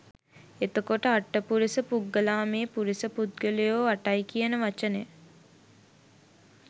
එතකොටඅට්ඨපුරිස පුග්ගලාමේ පුරිස පුද්ගලයෝ අටයි කියන වචනය